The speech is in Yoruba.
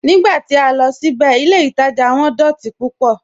Nígbà tí a lọ síbẹ̀, ilẹ̀ Ìtaja wọn dọ̀tí púpọ̀"